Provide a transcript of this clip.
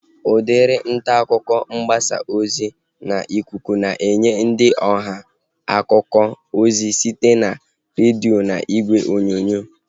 Udiri ntaakụkọ mgbasa ozi n'ikuku na-enye ndị ọha akụkọ ozi site na iji redio na ìgwè onyonyo